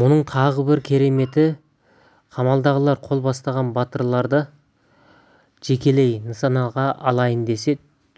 мұның тағы бір кереметі қамалдағылар қол бастаған батырларды жекелеп нысанаға алайын десе